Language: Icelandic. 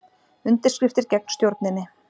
Undirskriftir gegn stjórninni